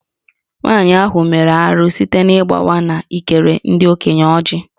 Nwanyị ahụ mere arụ site n’ịgbawa na ịkere ndị okenye Ọjị